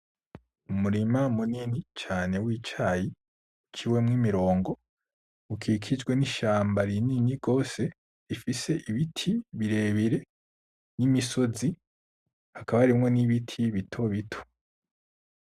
Umurima munini cane w'icayi uciwemwo imirongo, ukikijwe n'ishamba rinini gose, rifise ibiti birebire n'imisozi. Hakaba harimwo n'ibiti bitobito.